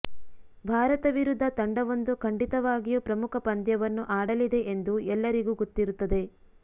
ಭಾರತ ವಿರುದ್ಧ ತಂಡವೊಂದು ಖಂಡಿತವಾಗಿಯೂ ಪ್ರಮುಖ ಪಂದ್ಯವನ್ನು ಆಡಲಿದೆ ಎಂದು ಎಲ್ಲರಿಗೂ ಗೊತ್ತಿರುತ್ತದೆ